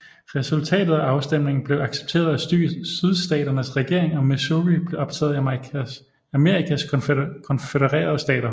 Resultatet af afstemningen blev accepteret af Sydstaternes regering og Missouri blev optaget i Amerikas Konfødererede Stater